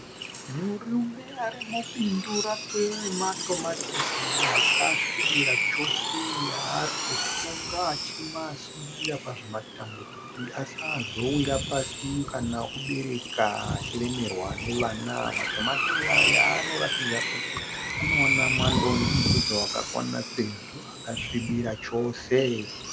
Murume ari mubindu rakwe rematomatisi akasvibira chose aari kusunga achimasungirira pazvimatambo kuti asazowira pasi kana oobereka achiremerwa nevana. Matomatisi aya anoratidza kuti anowana mwando nemupfudze wakakwana sezvo akasvibira chose